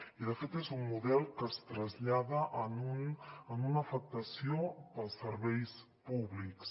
i de fet és un model que es trasllada a una afectació per als serveis públics